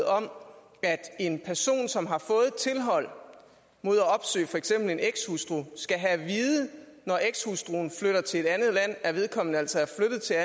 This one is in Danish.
om at en person som har fået tilhold mod at opsøge for eksempel en ekshustru skal have at vide når ekshustruen flytter til et andet land at vedkommende altså er flyttet til